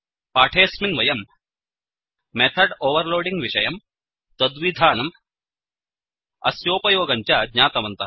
पाठेऽस्मिन् वयम् method overloading विषयं तद्विधानम् अस्योपयोगञ्च ज्ञातवन्तः